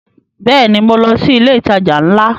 Bẹ́ẹ̀ni, mo lọ sí ilé ìtajà ńlá